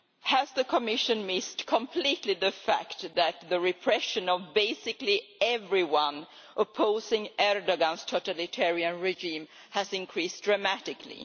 Has the Commission missed completely the fact that the repression of basically everyone opposing Erdoğan's totalitarian regime has increased dramatically?